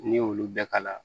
N'i y'olu bɛɛ kala